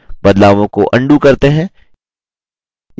बदलावों को अन्डू करते हैं